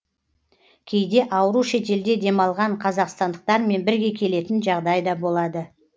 кейде ауру шетелде демалған қазақстандықтармен бірге келетін жағдай да болады